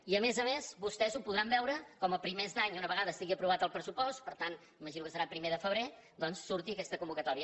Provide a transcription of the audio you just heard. i a més a més vostès ho podran veure com a primers d’any una vegada estigui aprovat el pressupost per tant m’imagino que serà a primer de febrer doncs surti aquesta convocatòria